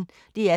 DR P1